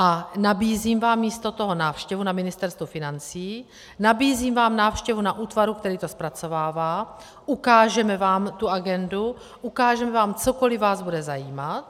A nabízím vám místo toho návštěvu na Ministerstvu financí, nabízím vám návštěvu na útvaru, který to zpracovává, ukážeme vám tu agendu, ukážeme vám, cokoli vás bude zajímat.